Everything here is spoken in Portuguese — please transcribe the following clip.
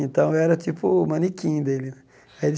Então, eu era tipo o manequim dele né. Ele